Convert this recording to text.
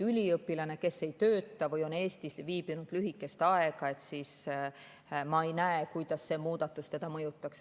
Üliõpilane, kes ei tööta või on Eestis viibinud lühikest aega – ma ei näe, kuidas see muudatus teda mõjutaks.